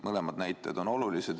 Mõlemad näitajad on olulised.